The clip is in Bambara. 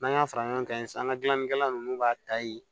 N'an y'a fara ɲɔgɔn kan yen sisan an ka gilannikɛla ninnu b'a ta yen